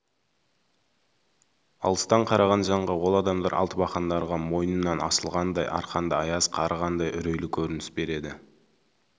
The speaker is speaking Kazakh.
алыстан қараған жанға ол адамдар алтыбақандарға мойнынан асылғандай арқанды аяз қарығандай үрейлі көрініс береді